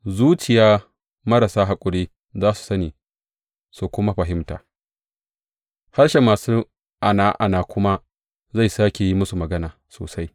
Zuciya marasa haƙuri za su sani su kuma fahimta, harshen masu ana’ana kuma zai sāke su yi magana sosai.